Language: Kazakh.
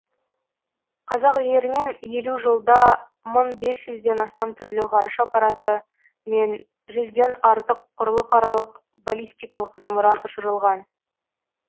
қазақ жерінен елу жылда мың бес жүзден астам түрлі ғарыш аппараты мен жүзден артық құрлықаралық баллистикалық зымыран ұшырылған